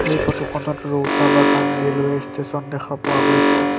এই ফটো খনত Rowta Bagan railway station দেখা পোৱা গৈছে।